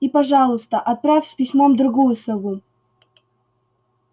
и пожалуйста отправь с письмом другую сову